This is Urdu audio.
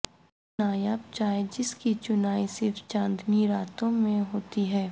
نایاب چائے جس کی چنائی صرف چاندنی راتوں میں ہوتی ہے